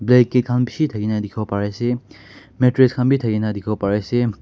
blanket khan bishi thakina dikhiwo pari ase mattress khan bi thakina dikhiwo pari ase.